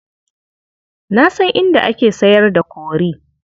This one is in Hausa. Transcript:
Na san inda ake sayar da kori.